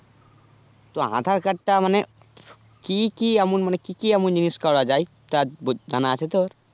তো aadhar card টা মানে কি কি এমন মানে কি কি এমন জিনিস করা যাই তা জানা আছে তোর